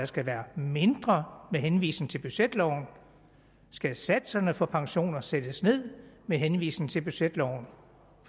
skal være mindre med henvisning til budgetloven skal satserne for pensioner sættes ned med henvisning til budgetloven